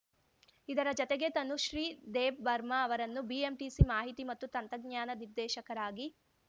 ಇದರ ಜತೆಗೆ ತನುಶ್ರೀ ದೇಬ್‌ ಬರ್ಮಾ ಅವರನ್ನು ಬಿಎಂಟಿಸಿ ಮಾಹಿತಿ ಮತ್ತು ತಂತ್ರಜ್ಞಾನ ನಿರ್ದೇಶಕರಾಗಿ